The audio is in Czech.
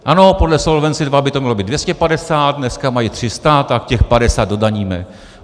Ano, podle Solvency II by to mělo být 250, dneska mají 300, tak těch 50 dodaníme.